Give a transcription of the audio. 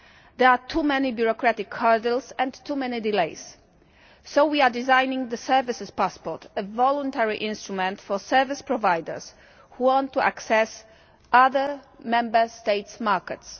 There are too many bureaucratic hurdles and too many delays so we are designing the services passport, a voluntary instrument for service providers who want to access other Member State markets.